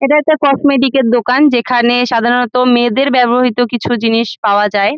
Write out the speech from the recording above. এটা একটা কসমেটিক -এর দোকান যেখানে সাধারণত মেয়েদের ব্যবহৃত কিছু জিনিস পাওয়া যায়।